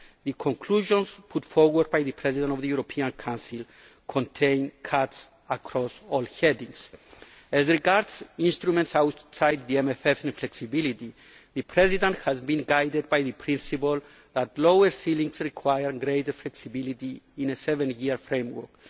end up. The conclusions put forward by the President of the European Council contain cuts across all headings. As regards instruments outside the MFF and flexibility, the President has been guided by the principle that lower ceilings require greater flexibility in a seven year framework.